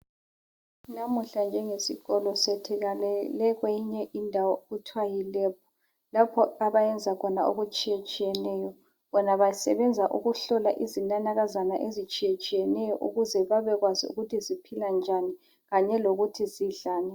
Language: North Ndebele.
Namuhla njengesikolo sethekalele kweyinye indawo okuthiwa yi"lab" lapho abayenza khona okutshiyetshiyeneyo. Bona basebenza ukuhlola izinanakazana ezitshiyetshiyeneyo ukuze babekwazi ukuthi ziphila njani kanye lokuthi zidlani.